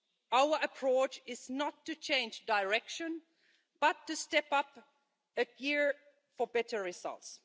Our approach is not to change direction, but to step up a gear for better results.